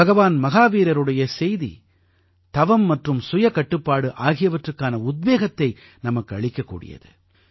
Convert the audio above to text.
பகவான் மஹாவீரருடைய செய்தி தவம் மற்றும் சுயக் கட்டுப்பாடு ஆகியவற்றிற்கான உத்வேகத்தை நமக்கு அளிக்கக்கூடியது